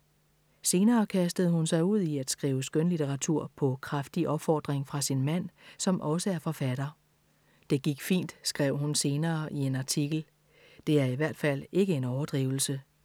Senere kastede hun sig ud i at skrive skønlitteratur på kraftig opfordring fra sin mand, som også er forfatter. Det gik fint, skrev hun senere i en artikel. Det er i hvert fald ikke en overdrivelse.